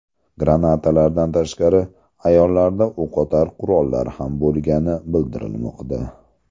Granatalardan tashqari, ayollarda o‘qotar qurollar ham bo‘lgani bildirilmoqda.